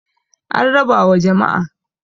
an raba wa jama'a